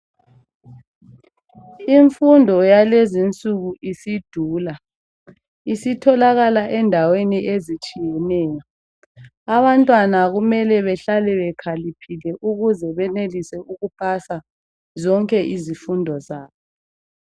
imfundo yalezinsuku isidula isitholakala endaweni ezitshiyeneyo abantwana kumele behlale bekhaliphile ukuze benelise ukupasa zonke izifundo zabo